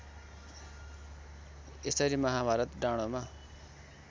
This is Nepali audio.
यसरी महाभारत डाँडोमा